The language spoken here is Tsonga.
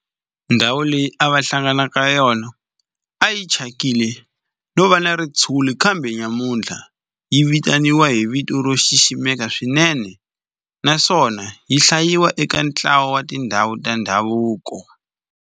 Ndhawu leyi a va hlangana ka yona a yi thyakile no va na ritshuri kambe namuntlha yi vitaniwa hi vito ro xiximeka swinene naswona yi hlayiwa eka ntlawa wa tindhawu ta ndhavuko.